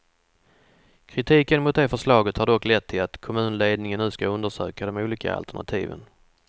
Kritiken mot det förslaget har dock lett till att kommunledningen nu skall undersöka de olika alternativen.